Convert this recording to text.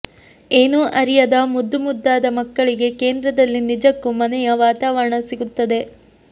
ಏನೂ ಅರಿಯದ ಮುದ್ದು ಮುದ್ದಾದ ಮಕ್ಕಳಿಗೆ ಕೇಂದ್ರದಲ್ಲಿ ನಿಜಕ್ಕೂ ಮನೆಯ ವಾತಾವರಣ ಸಿಗುತ್ತದೆ